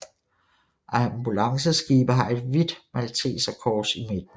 Ambulanceskibe har et hvidt malteserkors i midten